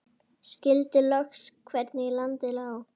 Skildi loks hvernig landið lá.